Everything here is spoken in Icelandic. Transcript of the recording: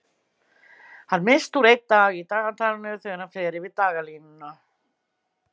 Hann missir úr einn dag í dagatalinu þegar hann fer yfir dagalínuna.